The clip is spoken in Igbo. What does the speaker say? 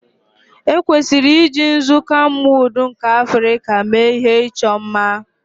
Ekwesịrị iji nzu kamwụd nke Africa mee ihe ịchọ mma